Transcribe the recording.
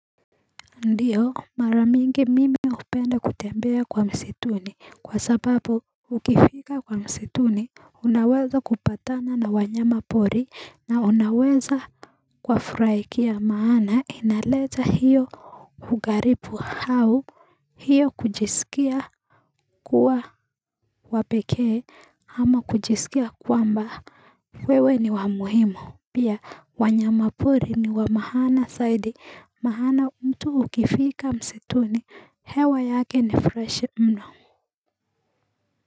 Ndio maramingi mimi upenda kutembea kwa msituni kwa sababu ukifika kwa msituni unaweza kupatana na wanyama pori na unaweza kwa furaikia maana inaleta hiyo hugaripu hau hiyo kujisikia kuwa wapekee ama kujisikia kwamba wewe ni wamuhimu Pia wanyamapori ni wa mahana saidi mahana mtu ukifika msituni hewa yake ni fresh mno.